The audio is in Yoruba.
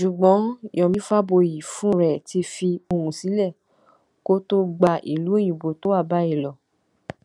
jugbọn yomi faboyì fúnra ẹ ti fi ohùn sílẹ kó tóó gba ìlú òyìnbó tó wà báyìí lọ